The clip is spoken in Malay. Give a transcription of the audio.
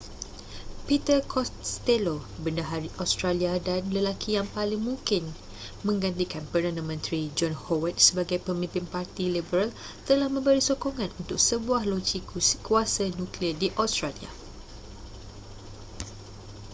peter costello bendahari australia dan lelaki yang paling mungkin menggantikan perdana menteri john howard sebagai pemimpin parti liberal telah memberi sokongan untuk sebuah loji kuasa nuklear di australia